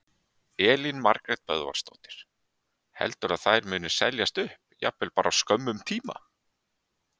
Elín Margrét Böðvarsdóttir: Heldurðu að þær muni seljast upp, jafnvel bara á skömmum tíma?